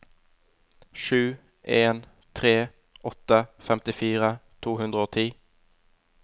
sju en tre åtte femtifire to hundre og ti